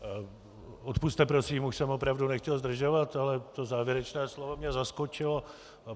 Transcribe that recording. Odpusťte prosím, už jsem opravdu nechtěl zdržovat, ale to závěrečné slovo mě zaskočilo.